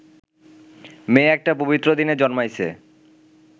মেয়ে একটা পবিত্র দিনে জন্মাইছে